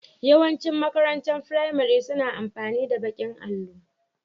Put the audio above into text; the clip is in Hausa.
Yawan cin makarantar firamare suna amfani da baƙin allo